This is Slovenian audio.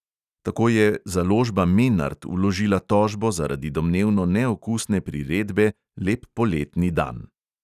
Tako je založba menart vložila tožbo zaradi domnevno neokusne priredbe lep poletni dan.